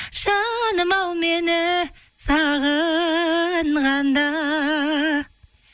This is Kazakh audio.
жаным ау мені сағынғанда